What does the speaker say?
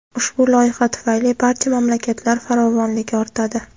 Ushbu loyiha tufayli barcha mamlakatlar farovonligi ortadi.